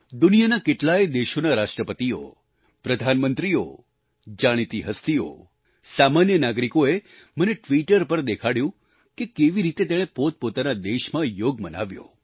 દુનિયાના કેટલાય દેશોના રાષ્ટ્રપતિઓ પ્રધાનમંત્રીઓ જાણીતી હસ્તીઓ સામાન્ય નાગરિકોએ મને ટ્વીટર પર દેખાડ્યું કે કેવી રીતે તેણે પોતપોતાના દેશમાં યોગ મનાવ્યો